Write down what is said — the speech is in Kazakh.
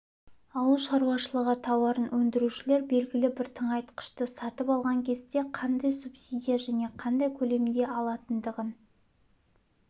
ауыл шаруашылығы тауарын өндірушілер белгілі бір тыңайтқышты сатып алған кезде қандай субсидия және қандай көлемде алатындығын